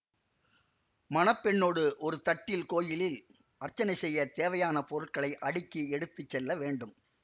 மணப்பெண்ணோடு ஒரு தட்டில் கோயிலில் அர்ச்சனை செய்ய தேவையான பொருட்களை அடுக்கி எடுத்து செல்லவேண்டும்